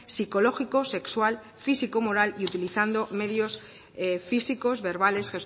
psicológico sexual físico moral y utilizando medios físicos verbales